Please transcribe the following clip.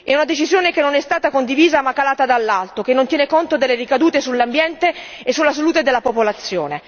È una decisione che non è stata condivisa ma calata dall'alto che non tiene conto delle ricadute sull'ambiente e sulla salute della popolazione.